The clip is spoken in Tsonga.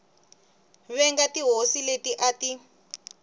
venga tihosi leti a ti